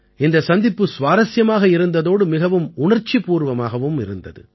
இந்தச் சந்திப்பு சுவாரசியமாக இருந்ததோடு மிகவும் உணர்ச்சிப்பூர்வமாகவும் இருந்தது